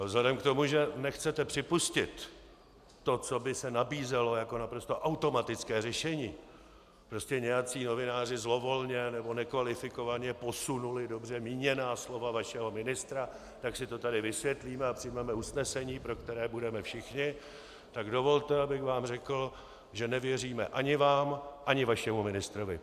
Ale vzhledem k tomu, že nechcete připustit to, co by se nabízelo jako naprosto automatické řešení, prostě nějací novináři zlovolně nebo nekvalifikovaně posunuli dobře míněná slova vašeho ministra, tak si to tady vysvětlíme a přijmeme usnesení, pro které budeme všichni, tak dovolte, abych vám řekl, že nevěříme ani vám, ani vašemu ministrovi.